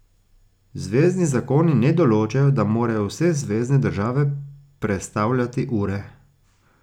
Zvezni zakoni ne določajo, da morajo vse zvezne države prestavljati ure.